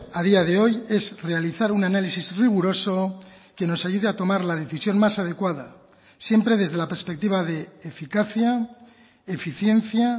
a día de hoy es realizar un análisis riguroso que nos ayude a tomar la decisión más adecuada siempre desde la perspectiva de eficacia eficiencia